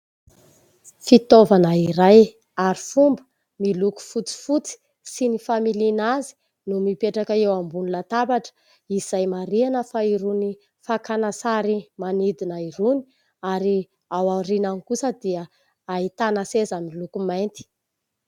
Fitaovana iray arifomba miloko fotsy fotsy sy ny familiana azy no mipetraka eo ambon'ny latabatra. Izay marihana fa irony fakana sary manidina irony ary ao aorianany kosa dia ahitana seza miloko mainty.